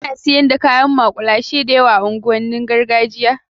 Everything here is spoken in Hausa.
Alot of street food is being sold in the ghetto area